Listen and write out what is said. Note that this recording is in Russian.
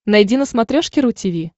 найди на смотрешке ру ти ви